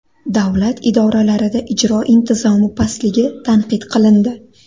Davlat idoralarida ijro intizomi pastligi tanqid qilindi.